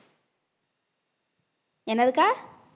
என்னதுக்கா